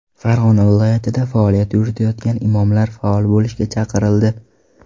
Farg‘ona viloyatida faoliyat yuritayotgan imomlar faol bo‘lishga chaqirildi.